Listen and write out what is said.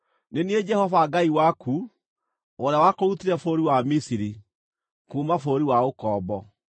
“Nĩ niĩ Jehova Ngai waku, ũrĩa wakũrutire bũrũri wa Misiri, kuuma bũrũri wa ũkombo.